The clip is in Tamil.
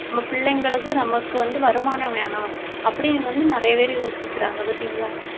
நம்ம பிள்ளைங்களுக்கு நமக்கு வந்து வருமானம் வேணும் அப்படின்னு வந்து நிறைய பேரு யோசிக்கிறாங்க பார்த்தீங்களா